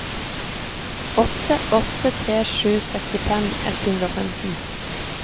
åtte åtte tre sju sekstifem ett hundre og femten